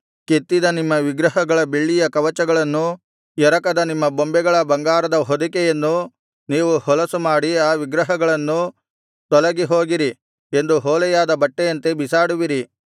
ಕೆತ್ತಿದ ನಿಮ್ಮ ವಿಗ್ರಹಗಳ ಬೆಳ್ಳಿಯ ಕವಚಗಳನ್ನೂ ಎರಕದ ನಿಮ್ಮ ಬೊಂಬೆಗಳ ಬಂಗಾರದ ಹೊದಿಕೆಯನ್ನು ನೀವು ಹೊಲಸುಮಾಡಿ ಆ ವಿಗ್ರಹಗಳನ್ನು ತೊಲಗಿ ಹೋಗಿರಿ ಎಂದು ಹೊಲೆಯಾದ ಬಟ್ಟೆಯಂತೆ ಬಿಸಾಡುವಿರಿ